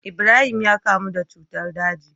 Ibrahim ya kamu da cutar daji